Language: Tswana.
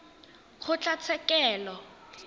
kgotlatshekelo